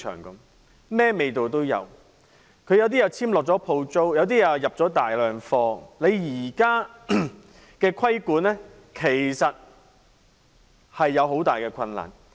一些零售商已簽下租約、另一些購入了大量貨品，你現時要進行規管，其實面對很大困難。